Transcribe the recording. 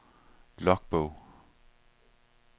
logbog